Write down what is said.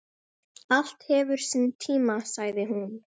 Allt hefur sinn tíma, sagði hún.